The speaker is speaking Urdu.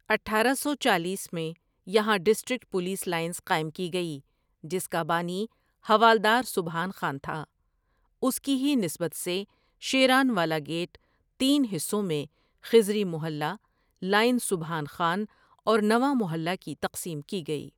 اٹھارہ سو چالیس میں یہاں ڈسٹرکٹ پولیس لائنز قائم کی گئی جس کا بانی حوالدارسبحان خان تھا اس کی ہی نسبت سے شیرانوالہ گیٹ تین حصوں میں خضری محلہ، لائن سبحان خان اور نواں محلہ کی تقسیم کی گئی ۔